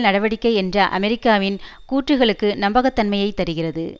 நடவடிக்கை என்ற அமெரிக்காவின் கூற்றுக்களுக்கு நம்பகத்தன்மையைத் தருகிறது